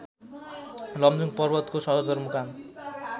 लमजुङ पर्वतको सदरमुकाम